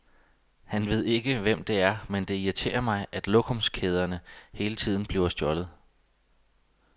Han ved ikke, hvem det er, men det irriterer mig, at lokumskæderne hele tiden bliver stjålet.